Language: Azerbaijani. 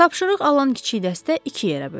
Tapşırıq alan kiçik dəstə iki yerə bölündü.